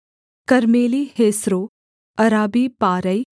कर्मेली हेस्रो अराबी पारै